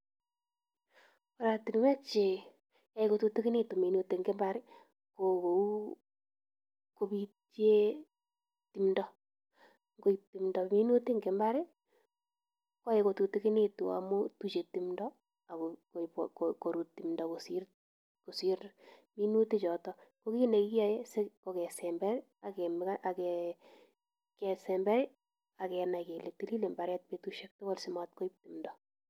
Oratinwek che yoe kotutikinitu minutik en mbar ko kou kobecye timdo, ngoib timdo minutik en mbar koyae kututikinitu amun tuche timbdo ak korut timbdo kosir minutichoto. Ko kit nekiyae ko kesember ak kenai kele tili mbaret betushek tugul simat koib timdo.